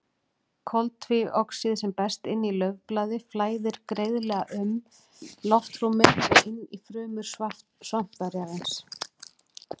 Koltvíoxíð sem berst inn í laufblaði flæðir greiðlega um loftrúmið og inn í frumur svampvefjarins.